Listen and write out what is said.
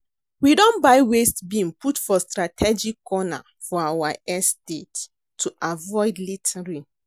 We don buy waste bin put for strategic corners for our estate to avoid littering